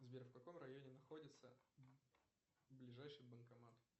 сбер в каком районе находится ближайший банкомат